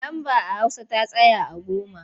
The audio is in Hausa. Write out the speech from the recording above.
Lamba a hausa ta tsaya a goma.